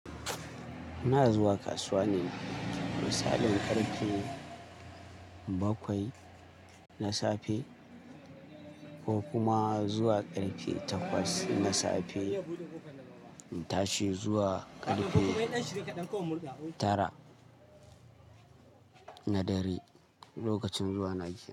Ina zuwa kasuwa ne da misalin ƙarfe bakwai na safe ko kuma zuwa karfe takwas na safe. Na tashi zuwa karfe tara na dare lokacin zuwa Najeriya.